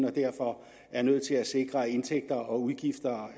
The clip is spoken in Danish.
og derfor er nødt til at sikre at indtægter og udgifter